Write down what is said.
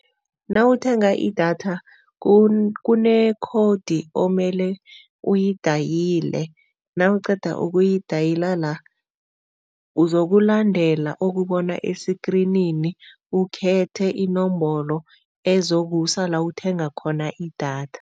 Nawuthenga idatha kune-code omele uyidayile, nawuqeda ukuyidayila la uzokulandela okubona esikrinini, ukhethe inomboro ezokusiza la uthenga khona idatha.